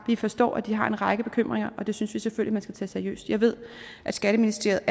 vi forstår at de har en række bekymringer og det synes vi selvfølgelig man skal tage seriøst jeg ved at skatteministeriet